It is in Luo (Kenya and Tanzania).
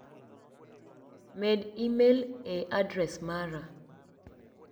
Med imel ni e adres mara.